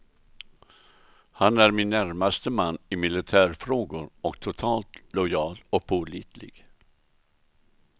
Han är min närmaste man i militärfrågor och totalt lojal och pålitlig.